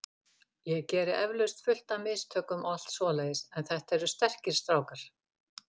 Ég geri eflaust fullt af mistökum og allt svoleiðis en þetta eru sterkir strákar.